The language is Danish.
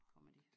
Kommer de